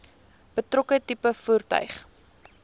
betrokke tipe voertuig